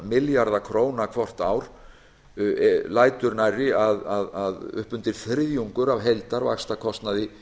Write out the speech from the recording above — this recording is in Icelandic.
milljarða króna hvort ár lætur nærri að upp undir þriðjungur af heildarvaxtakostnaði heimilanna í